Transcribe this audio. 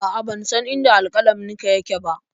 A'a, ban san inda alƙalaminka yake ba.